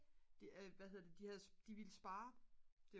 det er hvad hedder det de ville spare